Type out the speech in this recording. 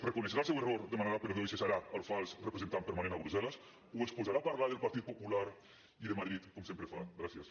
reconeixerà el seu error demanarà perdó i cessarà el fals representant permanent a brussel·les o es posarà a parlar del partit popular i de madrid com sempre fa gràcies